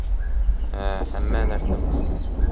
Ha, hamma narsa mumkin.